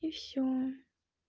и всё